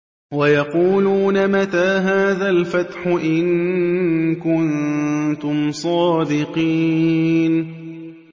وَيَقُولُونَ مَتَىٰ هَٰذَا الْفَتْحُ إِن كُنتُمْ صَادِقِينَ